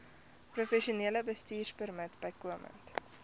professionele bestuurpermit bykomend